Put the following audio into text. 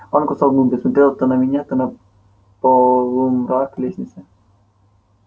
он кусал губы смотрел то на меня то на полумрак лестницы